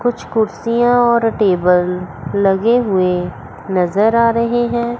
कुछ कुर्सियां और टेबल लगे हुए नजर आ रहे हैं।